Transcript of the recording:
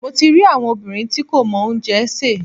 Mo ti rí àwọn obìnrin tí kò mọ oúnjẹ sè.